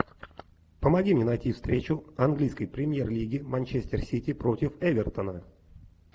помоги мне найти встречу английской премьер лиги манчестер сити против эвертона